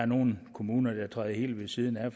nogle kommuner der træder helt ved siden af